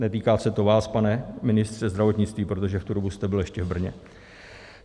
Netýká se to vás, pane ministře zdravotnictví, protože v tu dobu jste byl ještě v Brně.